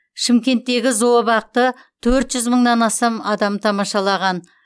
шымкенттегі зообақты төрт жүз мыңнан астам адам тамашалаған